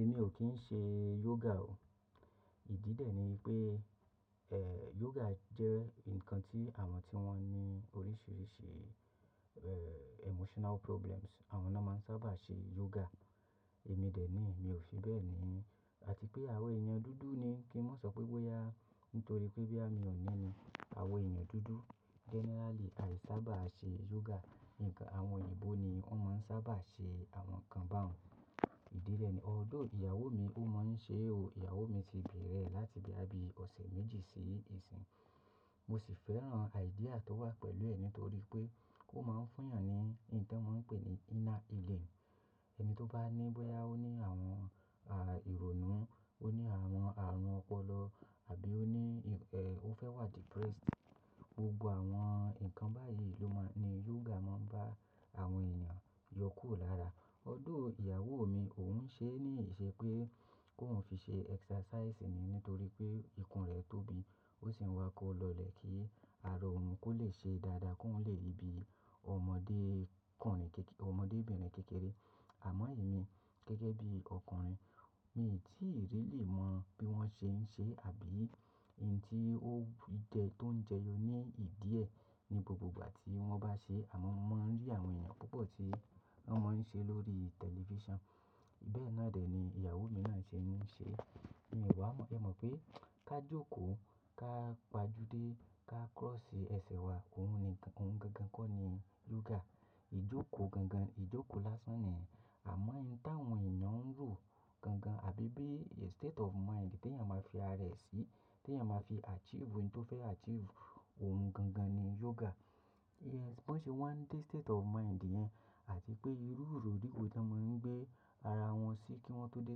Èmi ò kí ń ṣe yoga o. Ìdí dẹ̀ ni wípé, eh, yoga jẹ́ ǹkan tí àwọn tí wọ́n ní oríṣiríṣi, eh, emotional problems, àwọn náà máa ń sábà ṣe yoga. Èmi dẹ̀ ni mi ò fi bẹ́ẹ̀ ni. Àti pé àwọn èèyàn dúdú ni kí mọ́ n sọ pé bóyá nítorí pé boyà mi ò ní ni àwọn èèyàn dúdú generally àì sábà ṣe yoga. Ǹkan àwọn òyìnbó ni wọ́n máa ń sábà ṣe àwọn ǹkan bá un. Ìdí dẹ̀ ni, although ìyàwó mi ó máa ń ṣe o. Ìyàwó mi ti bẹ̀rẹ̀ láti boya bí ọ̀sẹ̀ méjì sí ìsín. Mo sì fẹ́ràn idea tó wà pẹ̀lú ẹ̀ ni nítorí pé ó máa ń fún èèyàn ní ohun tí wọ́n pè ní inner healing. Ẹni tó bá ní bóyá ó ní àwọn, ah, ìrònú, ó ní àwọn ààrùn ọpọlọ àbí ó ní, eh, ó fẹ́ wà depressed, gbogbo àwọn ǹkan báyìí ló máa ń ni yoga máa ń bá àwọn èèyàn yọkùro lára. Although ìyàwó mi òun ṣe ní ìṣe pé kóun fi ṣe exercise ni nítorí pé ikùn rẹ̀ tóbi. Ó sì ń wá kó lọlẹ̀ kí arọ òun kó lè ṣe dáadáa kóun lè ri bí ọmọdé ọkùnrin kéké-- ọmọdébìnrin kékeré. Àmọ́ èmi gẹ́gẹ́ bí ọkùnrin mi tíì really mọ bí wọ́n ṣe ń ṣe àbí ìnti óun jẹ tó ń jẹyọ ní ìdíẹ̀ ní gbogbo ìgbà tí wọ́n bá ṣe. Àmọ́ mo máa ń rí àwọn èèyàn púpọ̀ tí wọ́n máa ń ṣe lórí television. Bẹ́ẹ̀ náà dẹ̀ ni ìyàwó mi náà ṣe ń ṣe. Èmi wà mó, ẹ mọ̀ pé ká jókòó, ká pajúdé, ká cross ẹsẹ̀ wa, òhun ni ǹkan, òun gangan kọ́ ni yoga. Ìjókòó gangan, ìjókòó lásán ni yen. Àmọ́ ìn ta àwọn èèyàn ń ro gangan àbí bí a state of mind tí èèyàn máa fi ara e sí, tí èèyàn máa fi achieve ohun tó fẹ́ achieve, òhun gangan ni yoga. Yes, bó ṣe wa ń dé state of mind yen, àti pé ìrú ìró di wo to máa ń gbé ara wọn sí kí wọ́n tó dé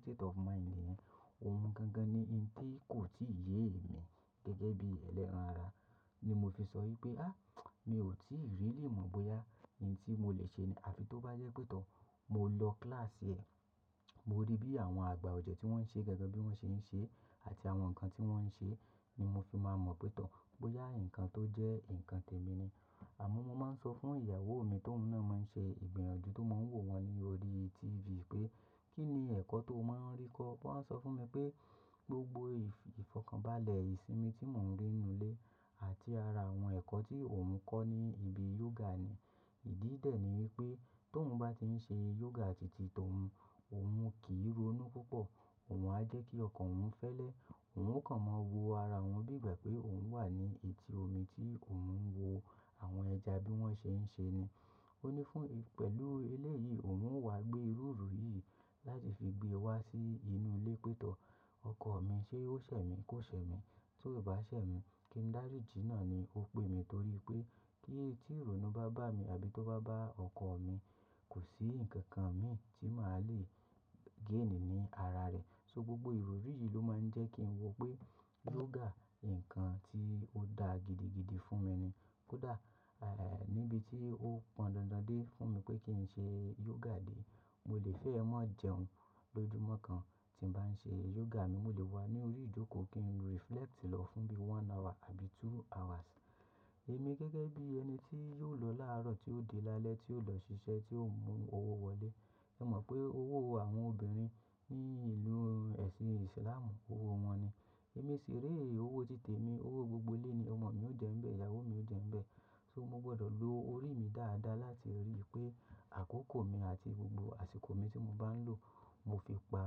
state of mind yen, òhun gangan ni n tí kò tíì yé èmi gẹ́gẹ́ bí ẹlẹ́ran ara. Ni mo fi sọ wípé, ah, mi ò tíì really mọ bóyá n tí mo lè ṣe ni. Àfi tó bá jẹ́ pé tọ mo lọ class ẹ̀, mo rí bí àwọn àgbà ọ̀jẹ̀ tí wọ́n ń ṣe gangan bí wọ́n ṣe ń ṣe àti àwọn ǹkan tí wọ́n ń ṣe ni mo fi máa mọ pé tọ bóyá ǹkan tó jẹ́ ǹkan tèmi ni. Àmọ́ mo máa ń sọ fún ìyàwó mi tó oun náà máa ń ṣe ìgbìyànjú tó máa ń wò wọ́n ní orí TV pé kí ni ẹ̀kọ́ tó máa ń rí kọ́? Wọ́n a sọ fún mi pé gbogbo ìfọ̀kànbalẹ̀ ìsinmi tí mò ń rí nù ilé àti ara àwọn ẹ̀kọ́ tí òun kọ́ ni ibi yoga ni. Ìdí dẹ̀ ni wípé tóun bá ti ń ṣe yoga tìtì tóun, òun kì í ronú púpọ̀. Òun á jẹ́ kí ọkàn òun fẹ́lẹ́. Òun ó kàn máa wo ara òun bí ìgbà pé òun wà ní etí omi tí òun ń wo. Àwọn ẹja bí wọ́n ṣe ń ṣe ni. Ó ní fún, pẹ̀lú ele yìí òun o wà gbé ìrúru yìí láti fi gbé wá sí inú ilé pé tọ. Ọkọ mi ṣé ó ṣẹ̀ mí kó ṣẹ̀ mí. Tó bá ṣẹ̀ mí, kí n dáríji náà ni ó pè mi torí pé kí tí ìrònú bá bá mi àbí tó bá bá ọkọ mi, kò sí ǹkan kan mi tí màá le gain ní ara rẹ̀. So gbogbo ìrúru yìí ló máa ń jẹ́ kí n wo pé yoga. Ǹkan tí ó da gidigidi fún mi ni. Kódà, eh, níbi tí ó pọn dandan dé fún mi pé kí n ṣe yoga dé, mo lè fẹ́ ẹ mọ̀ jẹun lójoojúmọ́ kan tí n bá ń ṣe yoga. Mò lè wà ní orí ìjókòó kí n reflect lọ fún bí one hour àbí two hours. Èmi gẹ́gẹ́ bí ẹni tí yóò lọ láàárọ̀ tí ó dé lálẹ́ tí ó lọ ṣiṣẹ́ tí ó mú owó wọlé. Ẹ mọ̀ pé owó àwọn obìnrin ní ìlú ẹ̀sìn Islam owó wọn ni. Èmi sì re owó títè mi, owó gbogbo ilé ni. Ọmọ mi ò jẹ́ ńbẹ, ìyàwó mi ò jẹ́ ńbẹ. So mo gbọdọ̀ lo orí mi dáadáa láti ríi pé àkókò mi àti gbogbo àsìkò mi tí mo bá ń lò mo fi pa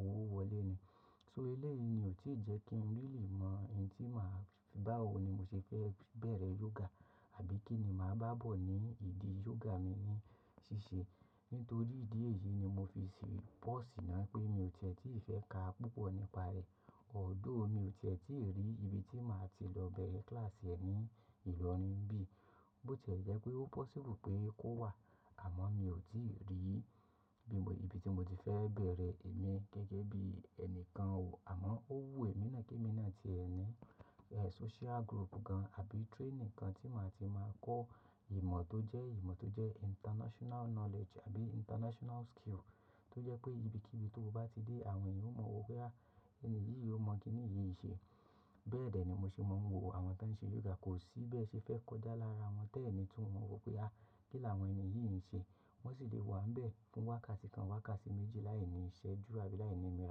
owó wọlé ni. So ẹlẹ́ yìí ni ò tíì jẹ́ kí n really mọ un tí màá fi bá wo ni mo ṣe fẹ́ bẹ̀rẹ̀ yoga àbí kí ni màá bá bọ̀ ní ìdí yoga mi ní ṣíṣe. Nítorí ìdí èyí ni mo fi sí pause náà pé mi ò tẹ́tí ì fẹ́ ka púpọ̀ nípa rẹ̀. Although mi ò ti e tí rí ibi tí màá ti lọ bẹ̀rẹ̀ class ẹ ní ìlorin nbí. Ó ti ẹ́ jẹ́ pé ó possible pé kó wà, àmọ́ mi ò tíì rí ibi tí mo ti fẹ́ bẹ̀rẹ̀. Èmi gẹ́gẹ́ bí ẹni kan ò. Àmọ́ ó wu èmi náà kí èmi náà ti ẹ ni, eh, social group kan àbí training kan tí màá ti máa kọ́ ìmọ̀ tó jẹ́ ìmọ̀ tó jẹ́ international knowledge àbí international skill tó jẹ́ pé ibikíbi tó o bá ti dé àwọn èèyàn ó mọ̀ wopé, ah, ẹni yìí ó mọ̀ kí nìyí ṣe. Bẹ́ẹ̀ dẹ̀ ni mo ṣe máa ń wo àwọn tí ń ṣe yoga. Kò sí bẹ́ẹ̀ ṣe fẹ́ kọjá lára wọn tẹ́ẹ̀ni tí wọn wò pé, ah, kí láwọn èèyàn yìí ń ṣe. Wọn sì lè wà ń bẹ fún wákàtí kan, wákàtí méjì láìní iṣẹ́ ju àbí láìní ìmọ̀.